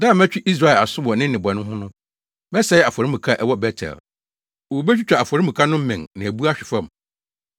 “Da a mɛtwe Israel aso wɔ ne nnebɔne ho no, mɛsɛe afɔremuka a ɛwɔ Bet-El; wobetwitwa afɔremuka no mmɛn na abu ahwe fam.